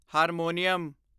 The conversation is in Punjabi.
ਹਾਰਮੋਨੀਅਮ